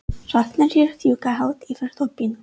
Hrafnarnir fljúga hátt yfir þorpinu.